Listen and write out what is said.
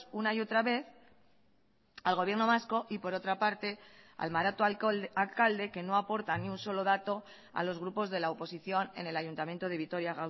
una y otra vez al gobierno vasco y por otra parte al maroto alcalde que no aporta ni un solo dato a los grupos de la oposición en el ayuntamiento de vitoria